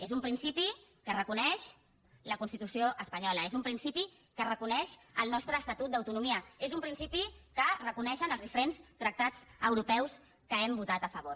és un principi que reconeix la constitució espanyola és un principi que reconeix el nostre estatut d’autonomia és un principi que reconeixen els diferents tractats europeus que hem votat a favor